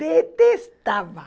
Detestava.